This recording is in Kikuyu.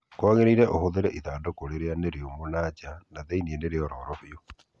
kwagĩrĩire ũhũthĩre ithandũkũ rĩrĩa nĩ rĩũmũ na nja no thĩinĩ nĩ rĩororo biũ.